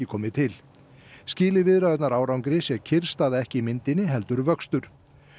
komið til skili viðræðurnar árangri sé kyrrstaða ekki í myndinni heldur vöxtur